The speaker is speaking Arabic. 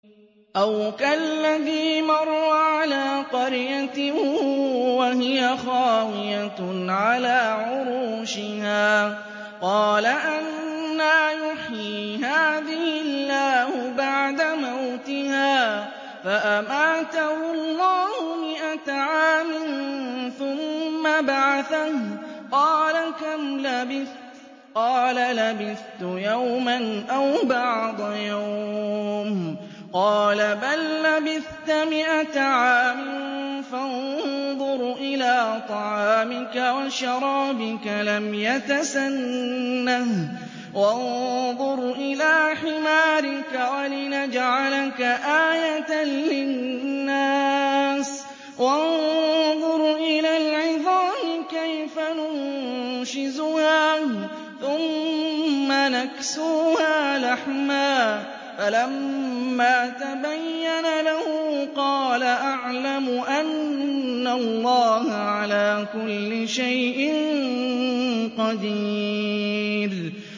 أَوْ كَالَّذِي مَرَّ عَلَىٰ قَرْيَةٍ وَهِيَ خَاوِيَةٌ عَلَىٰ عُرُوشِهَا قَالَ أَنَّىٰ يُحْيِي هَٰذِهِ اللَّهُ بَعْدَ مَوْتِهَا ۖ فَأَمَاتَهُ اللَّهُ مِائَةَ عَامٍ ثُمَّ بَعَثَهُ ۖ قَالَ كَمْ لَبِثْتَ ۖ قَالَ لَبِثْتُ يَوْمًا أَوْ بَعْضَ يَوْمٍ ۖ قَالَ بَل لَّبِثْتَ مِائَةَ عَامٍ فَانظُرْ إِلَىٰ طَعَامِكَ وَشَرَابِكَ لَمْ يَتَسَنَّهْ ۖ وَانظُرْ إِلَىٰ حِمَارِكَ وَلِنَجْعَلَكَ آيَةً لِّلنَّاسِ ۖ وَانظُرْ إِلَى الْعِظَامِ كَيْفَ نُنشِزُهَا ثُمَّ نَكْسُوهَا لَحْمًا ۚ فَلَمَّا تَبَيَّنَ لَهُ قَالَ أَعْلَمُ أَنَّ اللَّهَ عَلَىٰ كُلِّ شَيْءٍ قَدِيرٌ